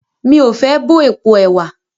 Mí o fé bọ́ èpo ẹ̀wà.